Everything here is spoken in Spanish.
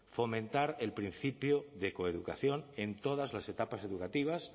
fomentar el principio de coeducación en todas las etapas educativas